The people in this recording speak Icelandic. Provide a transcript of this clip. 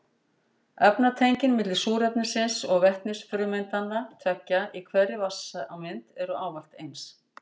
Efnatengin milli súrefnisins og vetnisfrumeindanna tveggja í hverri vatnssameind eru ávallt eins.